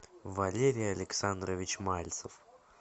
валерий александрович мальцев